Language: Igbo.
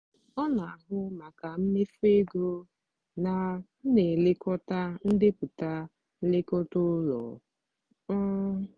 ọ na-ahụ maka mmefu ego na m na-elekọta ndepụta nlekọta ụlọ. um